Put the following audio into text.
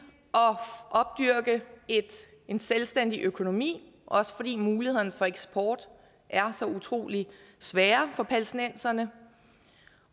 at opdyrke en selvstændig økonomi også fordi mulighederne for eksport er så utrolig svære for palæstinenserne